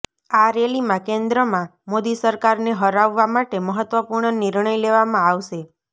આ રેલીમાં કેન્દ્રમાં મોદી સરકારને હરાવવા માટે મહત્વપૂર્ણ નિર્ણય લેવામાં આવશે